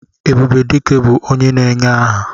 Ebube Dike bụ onye na-enye aha.